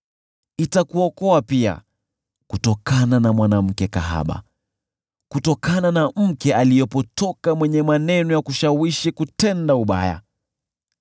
Itakuokoa pia kutokana na mwanamke kahaba, kutokana na mke aliyepotoka mwenye maneno ya kushawishi kutenda ubaya,